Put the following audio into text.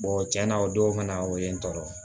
tiɲɛna o don kana o ye n tɔɔrɔ